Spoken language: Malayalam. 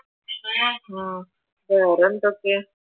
ആഹ് വേറെന്തൊക്കെ?